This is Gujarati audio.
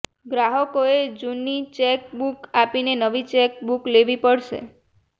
ગ્રાહકોએ જૂની ચેક બુક આપીને નવી ચેક બુક લેવી પડશે